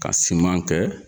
Ka kɛ